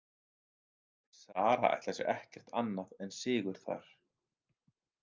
Sara ætlar sér ekkert annað en sigur þar.